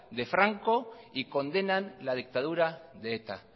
de franco y condenan la dictadura de eta